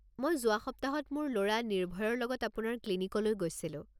মই যোৱা সপ্তাহত মোৰ ল'ৰা নিৰ্ভয়ৰ লগত আপোনাৰ ক্লিনিকলৈ গৈছিলোঁ।